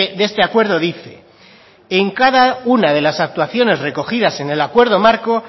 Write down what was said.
de este acuerdo dice en cada una de las actuaciones recogidas en el acuerdo marco